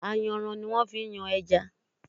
Ayanran ni wón fi ń yan ẹja.